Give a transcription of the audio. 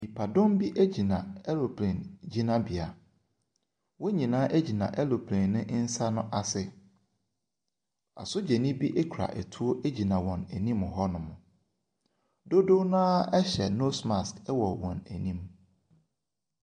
Nnipadɔm bi gyina aeroplane gyinabea. Wɔn nyinaa gyina aeroplane ne nsa no ase. Asogyani bi kura atuo gyina wɔn anim hɔnom. Dodoɔ no ara hyɛ nose mask wɔ wɔn anim.